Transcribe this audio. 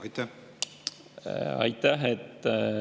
Aitäh!